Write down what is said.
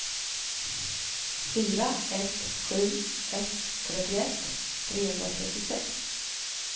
fyra ett sju ett trettioett trehundratrettiosex